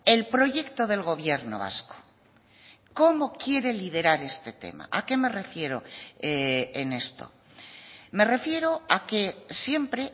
el proyecto del gobierno vasco cómo quiere liderar este tema a qué me refiero en esto me refiero a que siempre